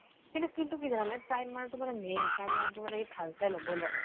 কিন্তু কি জানানে, primer টো মানে main, primer টো মানে কি ভাল চাই লবই লাগে।